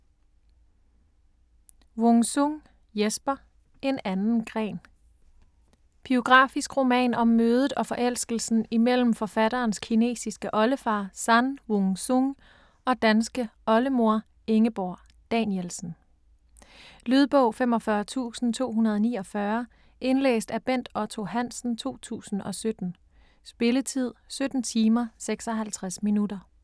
Wung-Sung, Jesper: En anden gren Biografisk roman om mødet og forelskelsen imellem forfatterens kinesiske oldefar San Wung Sung og danske oldemor Ingeborg Danielsen. Lydbog 45249 Indlæst af Bent Otto Hansen, 2017. Spilletid: 17 timer, 56 minutter.